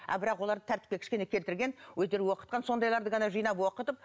а бірақ оларды тәртіпке кішкене келтірген өздері оқытқан сондайларды ғана жинап оқытып